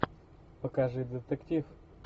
покажи детектив